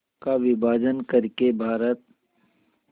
का विभाजन कर के भारत